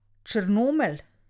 Črnomelj.